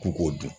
K'u k'o dun